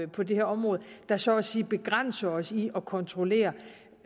på det her område der så at sige begrænser os i at kontrollere